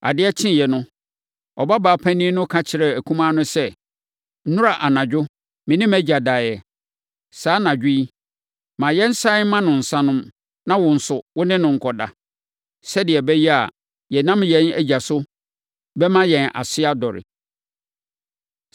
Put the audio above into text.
Adeɛ kyeeɛ no, ɔbabaa panin no ka kyerɛɛ akumaa no sɛ, “Nnora anadwo, me ne mʼagya daeɛ. Saa anadwo yi, ma yɛnsane mma no nsã nnom, na wo nso, wo ne no nkɔda, sɛdeɛ ɛbɛyɛ a yɛnam yɛn agya so bɛma yɛn ase adɔre.”